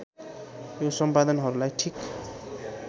यो सम्पादनहरूलाई ठीक